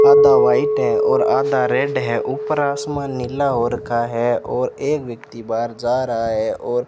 आधा व्हाइट है और आधा रेड है ऊपर आसमान नीला हो रखा है और एक व्यक्ति बाहर जा रहा है और--